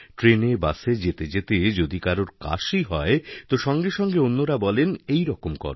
ট্রেনে বাসে যেতে যেতে যদি কারোরকাশি হয় তো সঙ্গে সঙ্গে অন্যরা বলে এইরকম কর